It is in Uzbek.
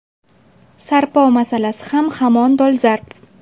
Sarpo masalasi ham hamon dolzarb.